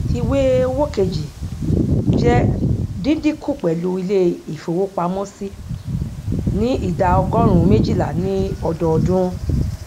ìwé owó kejì jẹ díndínkù pẹlú ilé ìfowópamọsí ní idà ọgórùnún méjìlá ní ọdọọdún